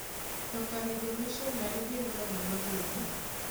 To kare jomishonari gin ga ng'ano gini?